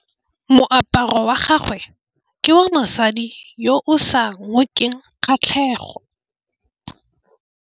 Moaparô wa gagwe ke wa mosadi yo o sa ngôkeng kgatlhegô.